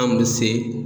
An bɛ se